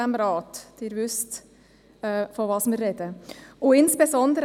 Sie wissen, wovon die Rede ist.